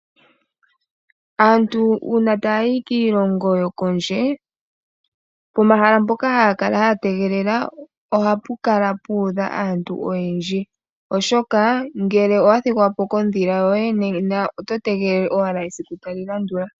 Aantu uuna taya yi kiilongo yokondje pomahala mpoka haya kala yategelele ohapu kala puudha aantu oyendji, oshoka ngele owathigwapo kodhila yoye nena oto tegelele owala esiku tali landula.